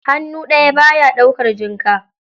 Hannu daya baya daukar jinka.